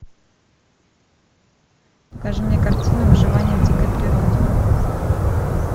покажи мне картину выживание в дикой природе